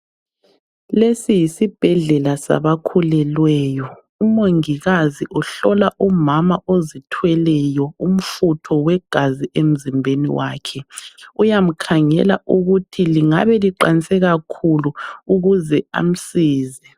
Lesi yisibhedlela sabakhulelweyo, umongikazi uhlola umama ozithweleyo umfutho wegazi emzimbeni wakhe uyamkhangela ukuthi lingabe liqanse kakhulu ukuze amsize.